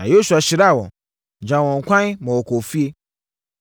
Na Yosua hyiraa wɔn, gyaa wɔn kwan ma wɔkɔɔ fie.